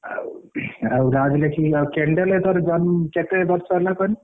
ଆଉ ରାଜ ଲେଖିବି ଆଉ candle ତୋର କେତେ ବର୍ଷ ହେଲା କାହନି।